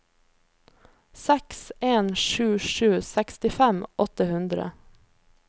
seks en sju sju sekstifem åtte hundre